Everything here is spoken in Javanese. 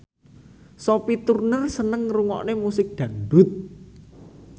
Sophie Turner seneng ngrungokne musik dangdut